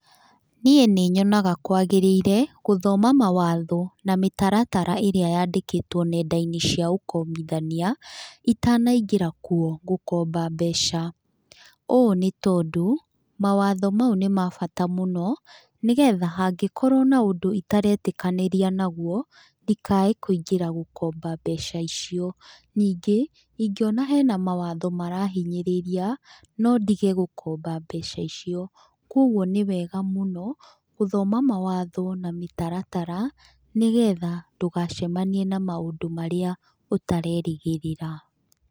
Niĩ nĩnyonaga kwagĩrĩire, gũthoma mawatho na mĩtaratara ĩrĩa yandĩkĩtwo nendainĩ cia ũkombithania, itanaingĩra kuo gũkomba mbeca. Ũũ nĩtondũ, mawato mau nĩmabata mũno, nĩgetha hangĩkorwo na ũndũ itaretĩkanĩria naguo, ndikae kũingĩra gũkomba mbeca icio. Nĩngĩ ingĩona hena mawatho marahinyĩrĩria, no ndige gũkomba mbeca icio. Koguo nĩwega mũno, gũthoma mawatho na mĩtaratara, nĩgetha ndũgacemanie na maũndũ marĩa ũtarerĩgĩrĩra.